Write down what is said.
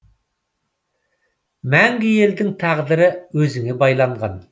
мәңгі елдің тағдыры өзіңе байланған